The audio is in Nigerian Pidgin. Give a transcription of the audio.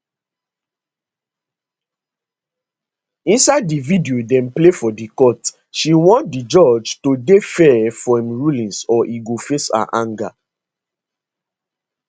inside di video dem play for di court she warn di judge to dey fair for im rulings or e go face her anger